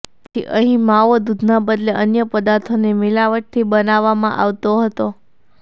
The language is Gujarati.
તેથી અહીં માવો દૂધના બદલે અન્ય પદાર્થોની મિલાવટથી બનાવવામાં આવતો હતો